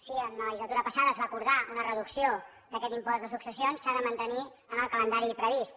si en la legislatura passada es va acordar una reducció d’aquest impost de successions s’ha de mantenir amb el calendari previst